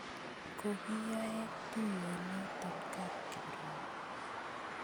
Kokiyoe tuiyonotok kap Kiprono